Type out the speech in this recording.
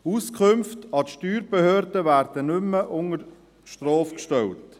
Auskünfte an die Steuerbehörden werden nicht mehr unter Strafe gestellt.